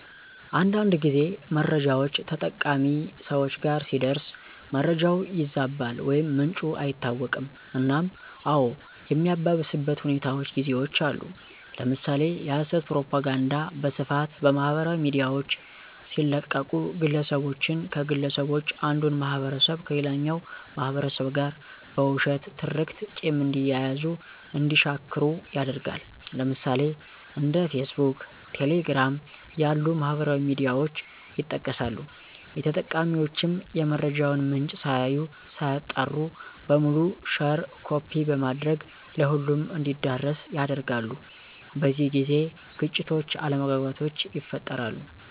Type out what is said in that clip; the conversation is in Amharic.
አንዳንድ ጊዜ መረጃውች ተጠቃሚ ሰወች ጋር ሲደርስ መረጃው ይዛባል ወይም ምንጩ አይታወቅም እናም አዎ የሚያባብስበት ሁኔታውች ጊዜውች አሉ። ለምሳሌ የሀሰት ፕሮፖጋንዳ በስፋት በማህበራዊ ሚዲያውች ሲለቀቁ ግለሰቦችን ከግለሰቦች አንዱን ማህበረሰብ ከሌላኛው ማህበረሰብ ጋር በውሸት ትርክት ቂም እንዲያያዙ እንዲሻክሩ ያደርጋል። ለምሳሌ፦ እንደ ፌስቡክ፣ ቴሌግራም ያሉ ማህበራዊ ሚዲያውች ይጠቀሳሉ። ተጠቃሚውችም የመረጃውን ምንጭ ሳያዩ ሳያጣሩ በሙሉ ሼር ኮፒ በማድረግ ለሁሉም እንዲዳረስ ያደርጋሉ። በዚህ ጊዜ ግጭቶች አለመግባባቶች ይፈጠራሉ።